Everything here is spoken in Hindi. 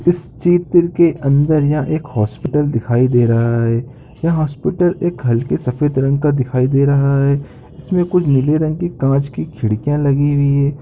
इस चित्र के अंदर यह एक हॉस्पिटल दिखाई दे रहा है यह हॉस्पिटल एक हल्के सफेद रंग का दिखाई दे रहा है इसमें कुछ नीले रंग की कांच की खिड़कियां लगी हुई हैं ।